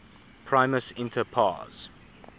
primus inter pares